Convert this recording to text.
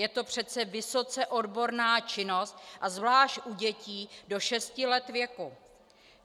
Je to přece vysoce odborná činnost a zvlášť u dětí do šesti let věku.